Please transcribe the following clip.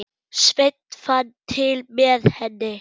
Sveinn fann til með henni.